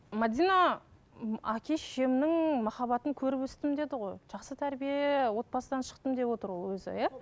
мәдина м әке шешемнің махаббатын көріп өстім деді ғой жақсы тәрбие отбасыдан шықтым деп отыр ол өзі иә